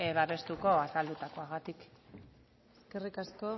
babestuko azaldutakoagatik eskerrik asko